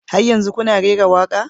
Har yanzu kuna rera waƙa?